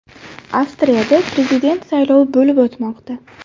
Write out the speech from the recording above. Avstriyada prezident saylovi bo‘lib o‘tmoqda.